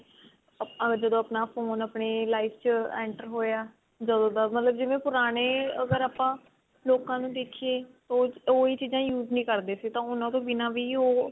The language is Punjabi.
ਆਪਾਂ ਜਦੋਂ ਆਪਣਾ phone ਆਪਣੀ life ਚ enter ਹੋਇਆ ਜਦੋਂ ਦਾ ਜਿਵੇਂ ਮਤਲਬ ਪੁਰਾਣੇ ਅਗਰ ਆਪਾਂ ਲੋਕਾਂ ਨੂੰ ਦੇਖੀਏ ਉਹ ਇਹ ਚੀਜ਼ਾਂ use ਨੀ ਕਰਦੇ ਸੀ ਤਾਂ ਹੁਣ ਉਹਤੋਂ ਬਿਨਾ ਵੀ